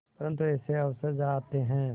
परंतु ऐसे अवसर आते हैं